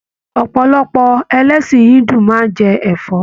Ọpọlọpọ ẹlẹsin Hindu máa n jẹ ẹfọ.